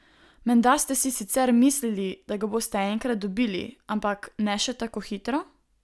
Menda ste si sicer mislili, da ga boste enkrat dobili, ampak ne še tako hitro?